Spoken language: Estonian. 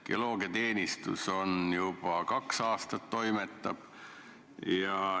Geoloogiateenistus on juba kaks aastat toimetanud.